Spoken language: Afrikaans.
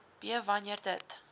b wanneer dit